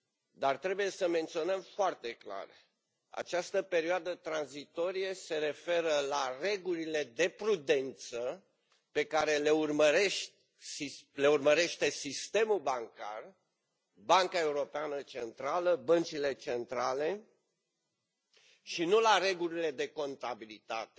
Dar, trebuie să menționăm foarte clar, această perioadă tranzitorie se referă la regulile de prudență pe care le urmărește sistemul bancar, Banca Europeană Centrală, băncile centrale și nu la regulile de contabilitate,